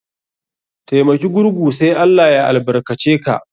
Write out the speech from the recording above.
Taimaki gurgu sai ALLAH ya albarka ce ka.